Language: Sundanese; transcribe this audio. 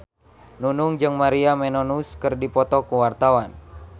Nunung jeung Maria Menounos keur dipoto ku wartawan